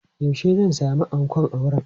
Yaushe zan sami ankon auren?